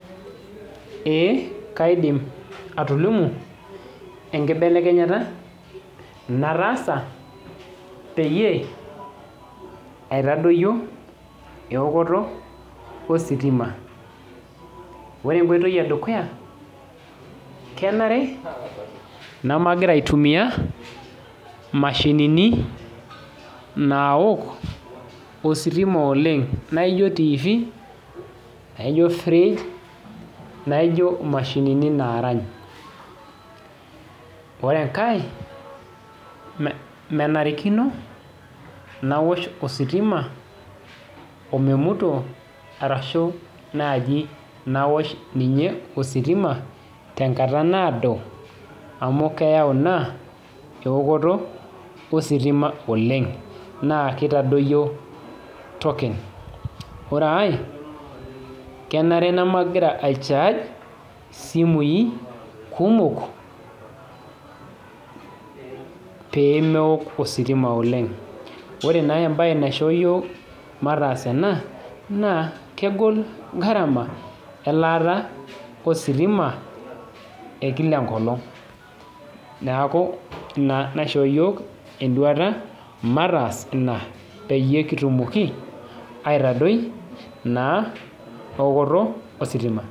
Ee kadim atolimu enkibelekenyata naraasa peyie aitadoyuo ewokoto ositima, Kore nkotei edukuya kenare namagira atumia mashinini nawook ositima oleng naijo tv, naijo frij naijo mashinini narany. Kore nkae menarikino nawosh ositima omomuto arashu naiji nawosh ninye ositima tankata naado amu keyau ina ewokoto ositima oleng naa ketadoyuo token. Kore ae kenare namagira aichaj simui kumok pemeok sitima oleng, Kore naa mbae naishoo yuok matas ana naa kegol ngarama elata ositima ekila nkolog neaku nia naisho yuok nduata matas Ina peye kitumoki aitadoi naa okoto ositima.